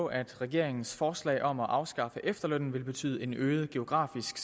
på at regeringens forslag om at afskaffe efterlønnen vil betyde en øget geografisk